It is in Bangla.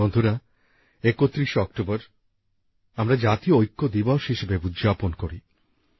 বন্ধুরা ৩১শে অক্টোবর আমরা জাতীয় ঐক্য দিবস হিসেবে উদযাপন করি